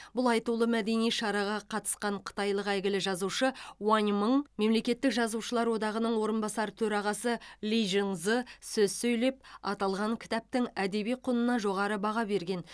бұл айтулы мәдени шараға қатысқан қытайлық әйгілі жазушы уаң мың мемлекеттік жазушылар одағының орынбасар төрағасы ли жиңзы сөз сөйлеп аталған кітаптың әдеби құнына жоғары баға берген